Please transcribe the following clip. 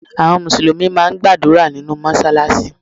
Àwọn Mùsùlùmí máà ń gbàdúrà nínú Mọ́ṣáláṣí.